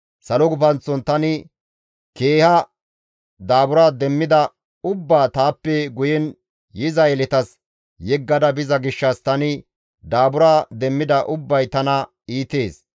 Salo gufanththon tani keeha daabura demmida ubbaa taappe guyen yiza yeletas yeggada biza gishshas tani daabura demmida ubbay tana iitees.